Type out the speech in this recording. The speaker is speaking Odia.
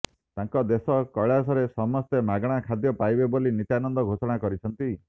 ତାଙ୍କ ଦେଶ କୈଳାସରେ ସମସ୍ତେ ମାଗଣା ଖାଦ୍ୟ ପାଇବେ ବୋଲି ନିତ୍ୟାନନ୍ଦ ଘୋଷଣା କରିଛନ୍ତି